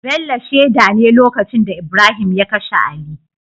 Bello sheda ne lokacin da Ibrahim ya kashe ali